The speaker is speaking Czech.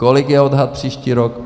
Kolik je odhad příští rok?